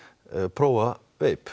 prófa veipið